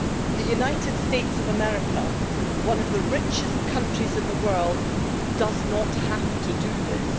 The United States of America, one of the richest countries in the world, does not have to do this.